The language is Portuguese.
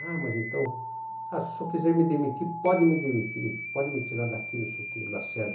Ah, mas então, se o senhor quiser me demitir, pode me demitir, pode me tirar daqui, não sei o quê. Lacerda